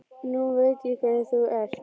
Nú veit ég hvernig þú ert!